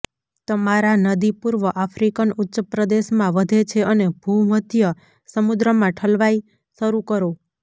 તમારા નદી પૂર્વ આફ્રિકન ઉચ્ચપ્રદેશ માં વધે છે અને ભૂમધ્ય સમુદ્રમાં ઠલવાય શરૂ કરો